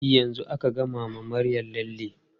E, yanzu aka gama wa Maryam lalle.